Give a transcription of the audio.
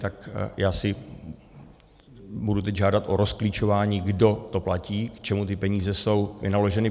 Tak já si budu teď žádat o rozklíčování, kdo to platí, k čemu ty peníze jsou vynaloženy.